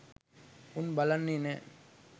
උන් බලන්නේ නෑ.